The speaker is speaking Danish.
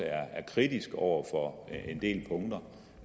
er kritisk over for en del punkter